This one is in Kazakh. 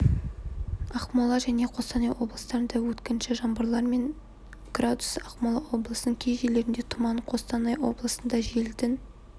ақмола және қостанай облыстарында өткінші жаңбырлар және градус ақмола облысының кей жерлерінде тұман қостанай облысында желдің